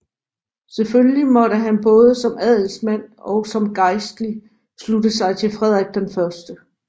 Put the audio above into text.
Selvfølgelig måtte han både som adelsmand og som gejstlig slutte sig til Frederik 1